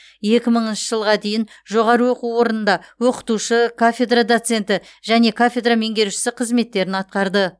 екі мыңыншы жылға дейін жоғарғы оқу орнында оқытушы кафедра доценті және кафедра меңгерушісі қызметтерін атқарды